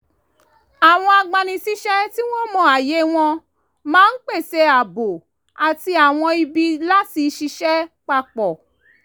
àwọn agbanisíṣẹ́ tí wọ́n mọ ààyè wọn máa ń pèsè ààbò àti àwọn ibi láti ṣiṣẹ́ papọ̀